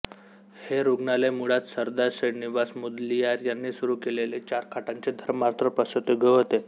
हे रुग्णालय मुळात सरदार श्रीनिवास मुदलियार यांनी सुरू केलेले चार खाटांचे धर्मार्थ प्रसूतीगृह होते